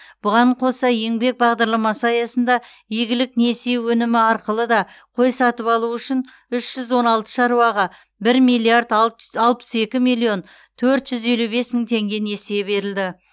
бұған қоса еңбек бағдарламасы аясында игілік несие өнімі арқылы да қой сатып алу үшін үш жүз он алты шаруаға бір миллиард алтжз алпыс екі миллион төрт жүз елу бес мың теңге несие берілді